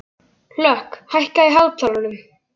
Hlökk, hækkaðu í hátalaranum.